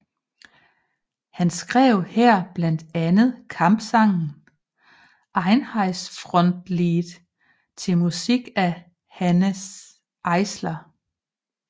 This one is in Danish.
Han skrev her blandt andet kampsangen Einheitsfrontlied til musik af Hanns Eisler